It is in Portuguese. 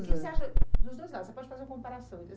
O que você acha dos dois lados, você pode fazer uma comparação, entre